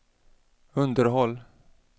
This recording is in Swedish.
underhåll